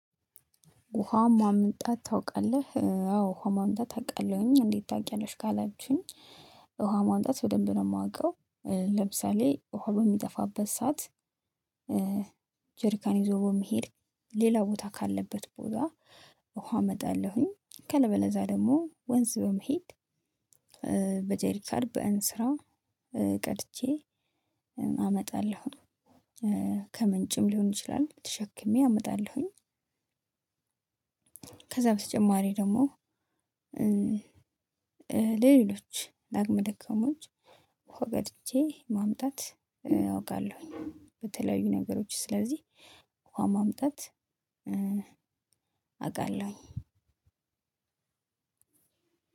ውሃ ማምጣት ታውቃለህ አዎ ውሃ ማምጣት አውቃለሁኝ እንዴት ታውቂያለሽ? ካላችሁኝ ውሃ ማምጣት በደንብ ነው የማውቀው። ለምሳሌ ውሃ በሚጠፋበት ሰዓት። ጄርካን ይዞ በመሄድ ሌላ ቦታ ካለበት ቦታ ውሃ አመጣለሁኝ። አለበለዛ ደግሞ ወንዝ በመሄድ በጀሪካን በእንስራ ቀድቼ አመጣለሁ። ከምንጭም ሊሆን ይችላል ተሸክሜ አመጣለሁኝ። ከዛ በተጨማሪ ደግሞ። ለሌሎች ለአቅመ ደካሞች ውሃ ቀድቼ ማምጣት አውቃለሁኝ። በተለያዩ ነገሮች ስለዚህ ውሃ ማምጣት አውቃለሁኝ።